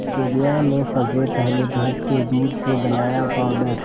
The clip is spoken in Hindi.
दुनिया में सबसे पहले भैंस के दूध से बनाया पावडर